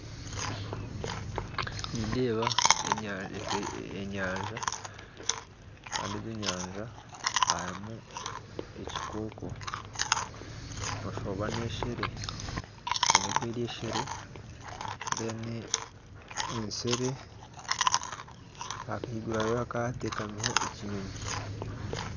Nindeeba enyanja kandi omu nyanja harimu ekikooko noshuusha oba n'ensiri kandi ahaiguru hateekamiho ekinyonyi